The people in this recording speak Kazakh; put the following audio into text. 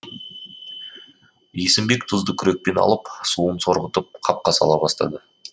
есімбек тұзды күрекпен алып суын сорғытып қапқа сала бастады